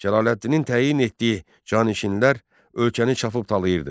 Cəlaləddinin təyin etdiyi cani-şinlər ölkəni çapıb talayırdı.